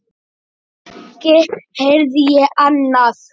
Ekki heyrði ég annað.